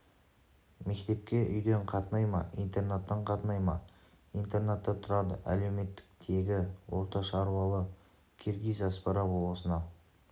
мектепке үйден қатынай ма интернаттан қатынай ма интернатта тұрады әлеуметтік тегі орта шаруалы киргиз аспара болысына